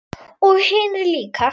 Og hinir líka.